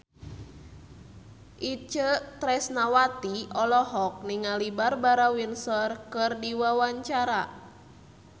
Itje Tresnawati olohok ningali Barbara Windsor keur diwawancara